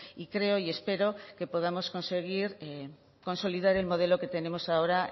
y creo y espero que podamos conseguir consolidar el modelo que tenemos ahora